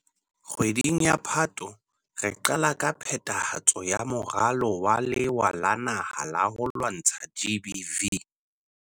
Kgwedi ya Phato, re qala ka phethahatso ya Moralo wa Lewa la Naha la ho lwantsha GBVF.